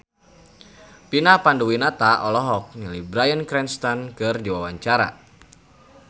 Vina Panduwinata olohok ningali Bryan Cranston keur diwawancara